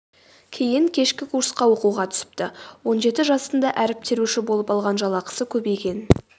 кейін кешкі курсқа оқуға түсіпті он жеті жасында әріп теруші болып алған жалақысы көбейген